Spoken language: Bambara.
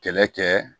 Kɛlɛ kɛ